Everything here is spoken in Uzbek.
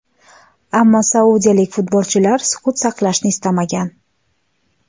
Ammo saudiyalik futbolchilar sukut saqlashni istamagan.